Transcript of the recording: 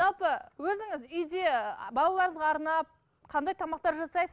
жалпы өзіңіз үйде балаларыңызға арнап қандай тамақтар жасайсыз